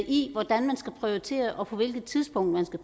i hvordan man skal prioritere og på hvilke tidspunkter